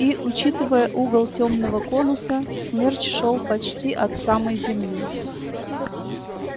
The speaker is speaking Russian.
и учитывая угол тёмного конуса смерч шёл почти от самой земли